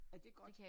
Er det godt?